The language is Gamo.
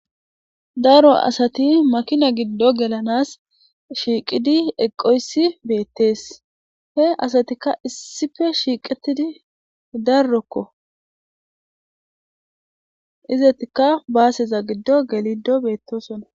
daro asati makina gido gelanas Shaqiri eqoysi betes he assatika issipe shiqetidi daroko izetika baseza gido gelidosona